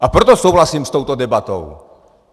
A proto souhlasím s touto debatou.